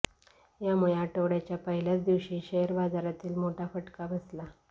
यामुळे आठवड्याच्या पहिल्याच दिवशी शेअर बाजाराली मोठा फटका बसला